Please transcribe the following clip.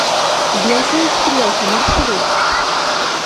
белка и стрелка маршрут